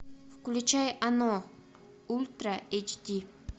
включай оно ультра эйч ди